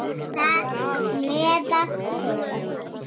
Þar á meðal Thomas.